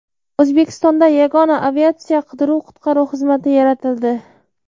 O‘zbekistonda yagona aviatsiya qidiruv-qutqaruv xizmati yaratildi.